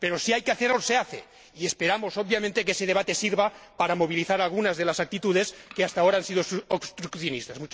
Pero si hay que hacerlo, se hace, y esperamos, obviamente, que ese debate sirva para movilizar algunas de las actitudes que hasta ahora han sido obstruccionistas.